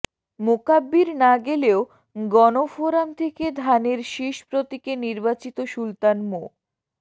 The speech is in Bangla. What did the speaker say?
মোকাব্বির না গেলেও গণফোরাম থেকে ধানের শীষ প্রতীকে নির্বাচিত সুলতান মো